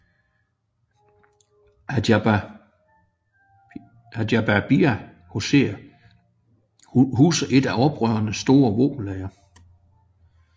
Ajdabiya huser et af oprørenes store våbenlagre